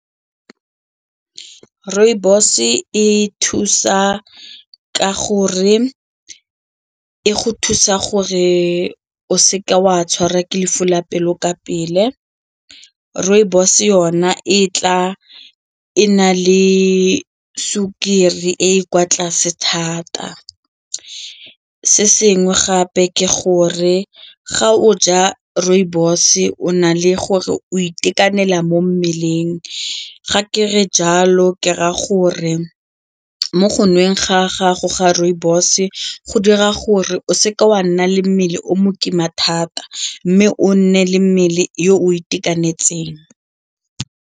Rooibos e go thusa gore o seke wa tshwarwa ke lefu la pelo ka pele, rooibos yona e tla e na le sukiri e e kwa tlase thata. Se sengwe gape ke gore ga o ja rooibos o na le gore o itekanela mo mmeleng ga ke re jalo ke raya gore mo go ntsheng ga gago ga rooibos go dira gore o seke wa nna le mmele o mo kima thata mme o nne le mmele yo o itekanetseng.